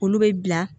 Olu bɛ bila